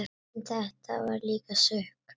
En þetta var líka sukk.